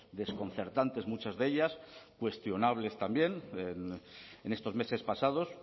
desconcertantes muchas de ellas cuestionables también en estos meses pasados